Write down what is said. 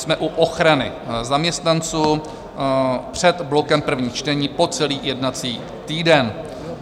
Jsme u ochrany zaměstnanců, před blokem prvních čtení, po celý jednací týden.